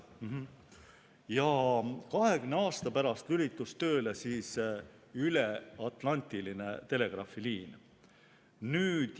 Ja 20 aasta pärast lülitus tööle üleatlandiline telegraafiliin.